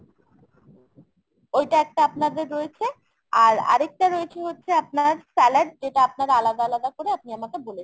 ওইটা একটা আপনাদের রয়েছে। আর আরেকটা রয়েছে হচ্ছে আপনার salad যেটা আপনার আলাদা আলাদা করে আপনি আমাকে বলেছেন।